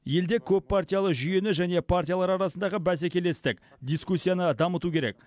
елде көппартиялы жүйені және партиялар арасындағы бәсекелестік дискуссияны дамыту керек